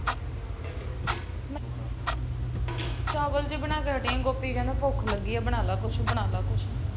ਚਾਵਲ ਜਿਹੇ ਬਣਾ ਕੇ ਹਟੀ ਆ। ਗੋਪੀ ਕਹਿੰਦਾ ਭੁੱਖ ਲੱਗੀ ਏ ਬਣਾ ਲੈ ਕੁਛ, ਬਣਾ ਲੈ ਕੁਛ